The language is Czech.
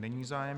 Není zájem.